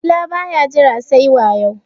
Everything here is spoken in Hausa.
dila ba ya Jira sai wayo